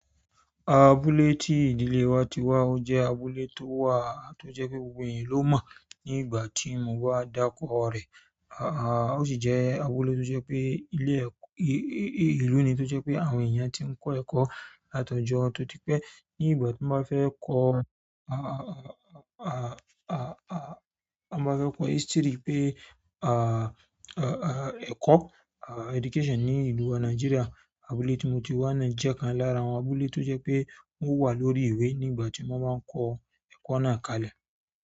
Abúlé ti ìdílé wa ti wa, o je abúlé towa to je pe gbogbo eyan lomo nígbà ti mba daruko re. À, ó sì jẹ́ abúlé tó jẹ́ pé ilé ẹ̀-- ìlú ni tó jẹ́ pé àwọn èèyàn tí ń kọ́ ẹ̀kọ́ látọjọ́ tótí pé ní ìgbà tí wọ́n bá fẹ́ kọ́, à, à, à, à, à, wọ́n ma ns pe history pé à, à, à ẹ̀kọ́ à education ní ìlú à Nigeria, abúlé tí mo ti wá náà jẹ́ kan lára àwọn abúlé tó jẹ́ pé wọ́n wà lórí ìwé ní ìgbà tí wọ́n máa ń kọ́ ẹ̀kọ́ náà kalẹ̀.